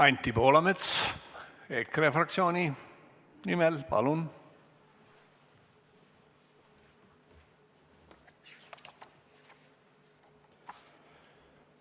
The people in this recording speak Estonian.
Anti Poolamets EKRE fraktsiooni nimel, palun!